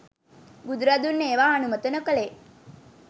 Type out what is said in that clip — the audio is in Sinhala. බුදුරදුන් ඒවා අනුමත නොකළේ